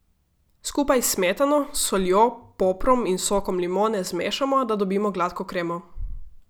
Skupaj s smetano, soljo, poprom in sokom limone zmešamo, da dobimo gladko kremo.